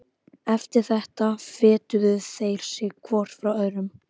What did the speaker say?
Eftir þetta fetuðu þeir sig hvor frá öðrum.